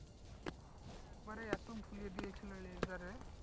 একবার এতো ফুলিয়ে দিয়েছিলো laser এ